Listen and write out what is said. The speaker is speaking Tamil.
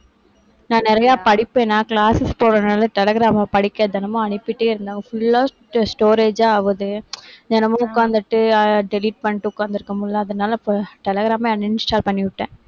நான் நிறைய படிப்பேனா classes போறதுனால டெலிகிராம்ல படிக்க தினமும் அனுப்பிட்டே இருந்தாங்க. full ஆ storage ஆ ஆகுது. தினமும் உட்கார்ந்துட்டு delete பண்ணிட்டு உட்கார்ந்திருக்க முடியலை. அதனால இப்ப டெலிகிராமே uninstall பண்ணிவிட்டேன்.